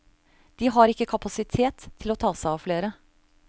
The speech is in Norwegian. De har ikke kapasitet til å ta seg av flere.